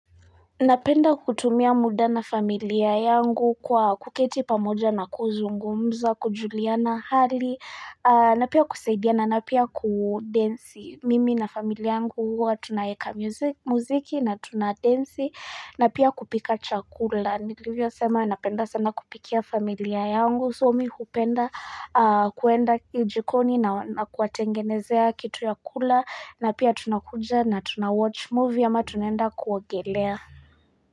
Napenda kutumia muda na familia yangu kwa kuketi pamoja na kuzungumza, kujuliana, hali, na pia kusaidia na na pia kudansi. Mimi na familia yangu huwa tunaeka muziki na tunadansi na pia kupika chakula. Nilivyo sema napenda sana kupikia familia yangu. So mumi hupenda kuenda jikoni na kuwatengenezea kitu ya kula na pia tunakuja na tunawatch movie ama tunaenda kuogelea.